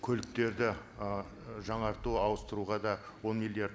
көліктерді ы жаңарту ауыстыруға да он миллиард